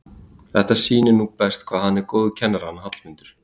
Þetta sýnir nú best hvað hann er góður kennari hann Hallmundur.